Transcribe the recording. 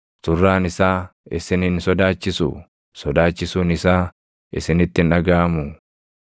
Surraan isaa isin hin sodaachisuu? Sodaachisuun isaa isinitti hin dhagaʼamuu?